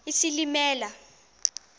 isilimela